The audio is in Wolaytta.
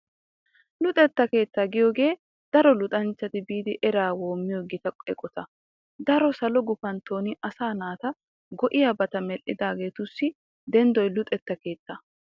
Luxetta keettaa yaagiyogee daro luxanchchati biidi eraa woommiyo gita eqota . Daro salo gufantton asaa naata go'iyabata medhdhidaageetussi denddoy luxetta keettaa.